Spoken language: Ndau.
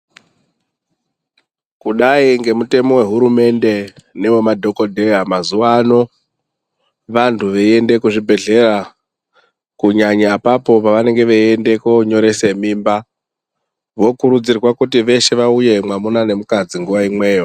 Kudai nemitemo wehurumende newe madhokodheya mazuva ano vantu veienda kuzvibhedhlera kunyanyanyanya pavanenge vachienda konyoresa mimba vokurudzirwa vaende veshe mwamuna nemukadzi nguwa imweyo.